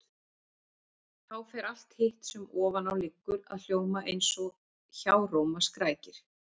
Þá fer allt hitt sem ofan á liggur að hljóma eins og hjáróma skrækir.